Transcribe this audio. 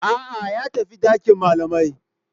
A'a, ya tafi dakin malamai.